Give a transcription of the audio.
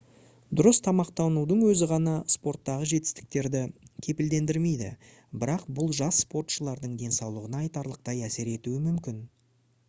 дұрыс тамақтанудың өзі ғана спорттағы жетістіктерді кепілдендірмейді бірақ бұл жас спортшылардың денсаулығына айтарлықтай әсер етуі мүмкін